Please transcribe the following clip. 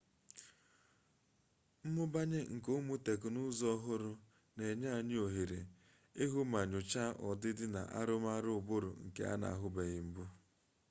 mmụbanye nke ụmụ teknụzụ ọhụrụ na-enye anyị ohere ịhụ ma nyochaa ọdịdị na arụmarụ ụbụrụ nke a na-ahụbeghị mbụ